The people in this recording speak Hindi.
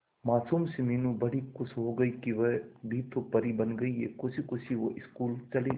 मासूम सी मीनू बड़ी खुश हो गई कि वह भी तो परी बन गई है खुशी खुशी वो स्कूल चली गई